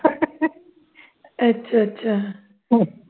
ਅੱਛਾ ਅੱਛਾ ਅਹ